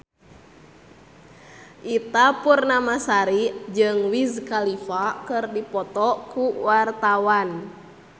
Ita Purnamasari jeung Wiz Khalifa keur dipoto ku wartawan